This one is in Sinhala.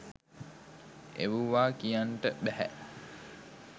එවුවා කියන්ට බැහැ